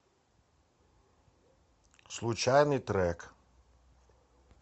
случайный трек